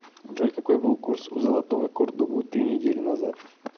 джой какой был курс у золотого кордобу три недели назад